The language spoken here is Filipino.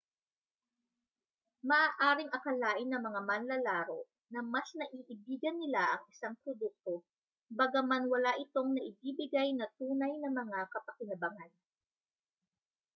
maaaring akalain ng mga manlalaro na mas naiibigan nila ang isang produkto bagaman wala itong naibibigay na tunay na mga kapakinabangan